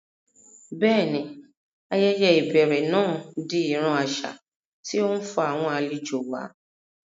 Bẹ́ẹ̀ni, ayẹyẹ ìbẹ̀rẹ̀ náà di ìran àṣà tí ó ń fa àwọn àlejò wá